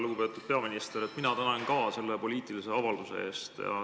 Lugupeetud peaminister, mina tänan ka selle poliitilise avalduse eest.